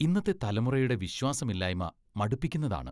ഇന്നത്തെ തലമുറയുടെ വിശ്വാസമില്ലായ്മ മടുപ്പിക്കുന്നതാണ്.